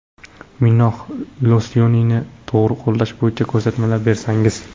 Minox losyonini to‘g‘ri qo‘llash bo‘yicha ko‘rsatmalar bersangiz.